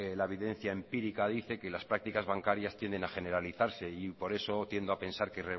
la videncia empírica dice que las prácticas bancarias tienden a generalizarse y por eso tiendo a pensar que